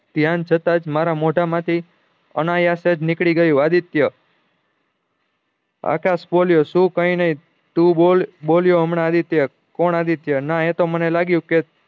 ત્યાં છતાં મારા મોઢા માં થી અનાયાસ નીક્દ્યી ગયું આદિત્ય આકાશ બોલ્યો શું કયી નહી તું બોલ બોલ્યો હમણાં આદિત્ય કોણ આદિત્ય ના એ તોમને લાગ્યું કે